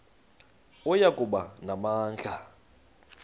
oya kuba namandla